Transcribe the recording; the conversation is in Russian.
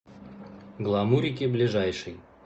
гламурики ближайший